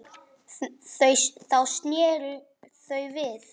Þá sneru þau við.